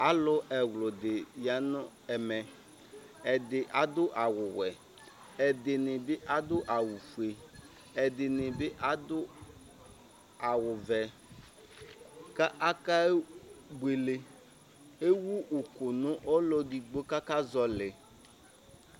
alo ɛwlodi ya no ɛmɛ ɛdi ado awu wɛ ɛdini bi ado awu fue ɛdini bi ado awu vɛ k'aka buele ewu òkò no ɔlò edigbo k'aka zɔli